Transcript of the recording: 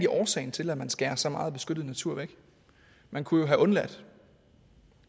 årsagen til at man skærer så meget beskyttet natur væk man kunne jo have undladt